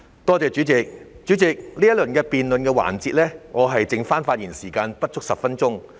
代理主席，在這個辯論環節，我的發言時間剩餘不足10分鐘。